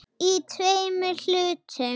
Í tveimur hlutum.